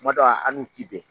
Kuma dɔ an n'u ti bɛn.